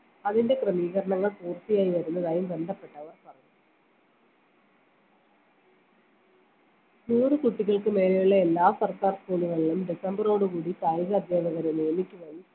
അതിൻറെ ക്രമീകരണങ്ങൾ പൂർത്തിയായി വരുന്നതായും ബന്ധപ്പെട്ടവർ പറഞ്ഞു നൂറ് കുട്ടികൾക്ക് മേലെയുള്ള എല്ലാ സർക്കാർ school കളിലും ഡിസംബറോട് കൂടി കായിക അധ്യാപകരെ നിയമിക്കുകയും